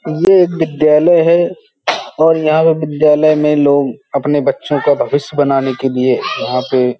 ये एक विद्यालय है और यहाँ पर विद्यालय में लोग अपने बच्चो का भविष्य बनाने के लिए यहाँ पे --